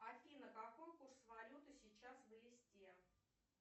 афина какой курс валюты сейчас в листе